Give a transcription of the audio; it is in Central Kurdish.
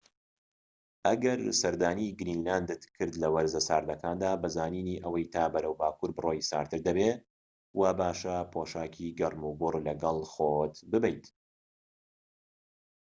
ئەگەر سەردانی گرینلاندت کرد لە وەرزە ساردەکاندا بە زانینی ئەوەی تا بەرەو باكوور بڕۆیت، ساردتر دەبێت وا باشە پۆشاکی گەرموگوڕ لەگەڵ خۆت ببەیت